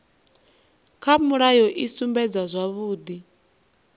kha mulayo i sumbedza zwavhudi